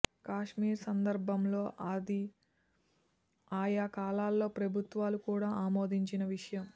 కాశ్మీర్ సందర్భంలో అది ఆయా కాలాల్లో ప్రభుత్వాలు కూడా ఆమోదించిన విషయం